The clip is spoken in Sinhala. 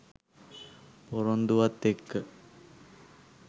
පොරොන්දුවත් එක්ක